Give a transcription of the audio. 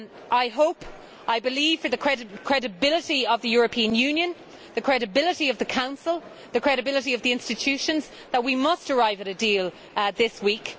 I hope and believe, for the credibility of the European Union, the credibility of the Council and the credibility of the institutions, that we must arrive at a deal this week